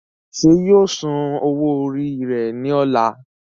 ṣé yóò san owó rẹ̀ ní ọ̀la?